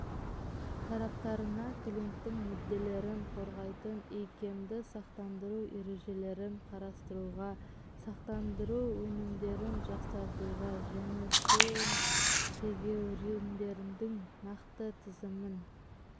тараптарына клиенттің мүдделерін қорғайтын икемді сақтандыру ережелерін қарастыруға сақтандыру өнімдерін жақсартуға және сын-тегеуріндердің нақты тізімін